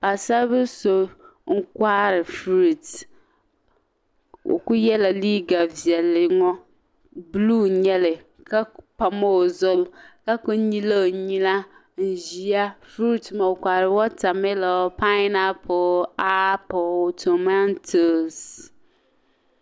Paɣasaribili so n kohiri "fruits" o ku yela liiga viɛlli ŋɔ "blue" nyali ka ku pam o zuɣu ka ku nyili o nyina n ʒiya fruits maa o kohiri "watermilo, pineapple, apple, tomatos".